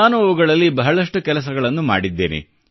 ನಾನು ಅವುಗಳಲ್ಲಿ ಬಹಳಷ್ಟು ಕೆಲಸಗಳನ್ನು ಮಾಡಿದ್ದೇನೆ